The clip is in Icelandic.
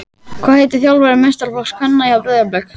Hvað heitir þjálfari meistaraflokks kvenna hjá Breiðablik?